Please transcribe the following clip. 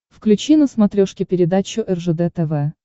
включи на смотрешке передачу ржд тв